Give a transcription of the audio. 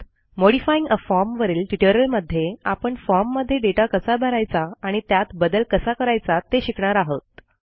modifying a form वरील ट्युटोरियलमध्ये आपण फॉर्म मध्ये दाता कसा भरायचा आणि त्यात बदल कसा करायचा ते शिकणार आहोत